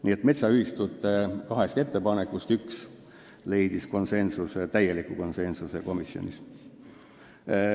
Nii et metsaühistute kahest ettepanekust üks kiideti komisjonis konsensusega heaks.